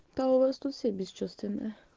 да у вас тут все бесчувственные